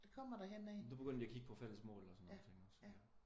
Nu begynder de at kigge på fælles mål og sådan nogle ting også?